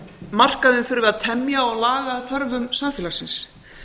markaðinn þurfi að temja og laga að þörfum samfélagsins